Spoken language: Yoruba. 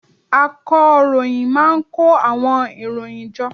Akọròyìn má a n kó àwọn ìròyìn jọ